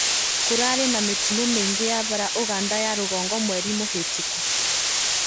Kũrarĩ na mĩtino mĩingĩ ya bara Ũganda ya rũgongo mweri mũhetũkũ